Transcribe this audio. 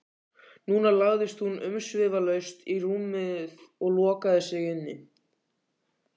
Núna lagðist hún umsvifalaust í rúmið og lokaði sig inni.